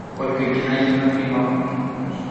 ольга геннадьевна климова